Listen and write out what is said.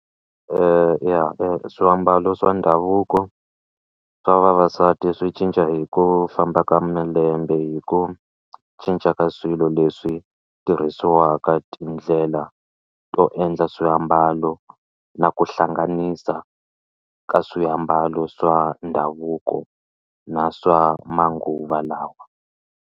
swiambalo swa ndhavuko swa vavasati swi cinca hi ku famba ka malembe hi ku cinca ka swilo leswi tirhisiwaka tindlela to endla swiambalo na ku hlanganisa ka swiambalo swa ndhavuko na swa manguva lawa.